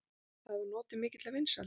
Það hefur notið mikilla vinsælda.